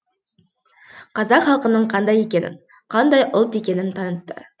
қазақ халқының қандай екенін қандай ұлт екенін танытты